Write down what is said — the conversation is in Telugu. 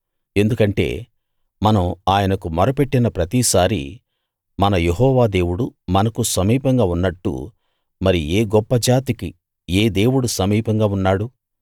ఎందుకంటే మనం ఆయనకు మొర పెట్టిన ప్రతిసారీ మన యెహోవా దేవుడు మనకు సమీపంగా ఉన్నట్టు మరి ఏ గొప్ప జాతికి ఏ దేవుడు సమీపంగా ఉన్నాడు